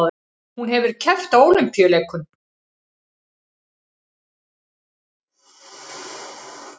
Hún hefur keppt á Ólympíuleikum